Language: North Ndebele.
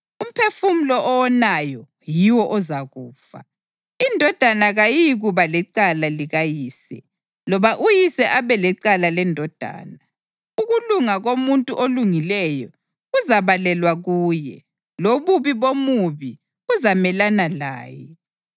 Umphefumulo owonayo yiwo ozakufa. Indodana kayiyikuba lecala likayise, loba uyise abe lecala lendodana. Ukulunga komuntu olungileyo kuzabalelwa kuye, lobubi bomubi buzamelana laye.